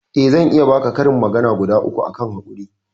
eh zan iya baka karin magana guda uku akan hakuri